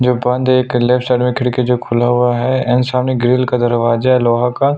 जो बंद है एक लेफ्ट साइड में खिड़की जो खुला हुआ है एंड सामने ग्रिल का दरवाजा है लोहा का --